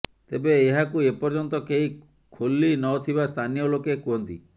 ତେବେ ଏହାକୁ ଏପର୍ୟ୍ୟନ୍ତ କେହି ଖୋଲି ନ ଥିବା ସ୍ଥାନୀୟ ଲୋକେ କୁହନ୍ତି